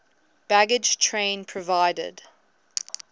baggage train provided